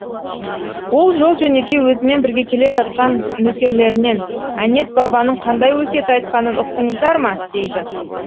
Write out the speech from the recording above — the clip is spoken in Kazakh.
ол жол жөнекей өзімен бірге келе жатқан нөкерлерінен әнет бабаның қандай өсиет айтқанын ұқтыңыздар ма дейді